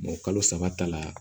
kalo saba ta la